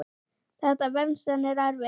Þetta venst en er erfitt.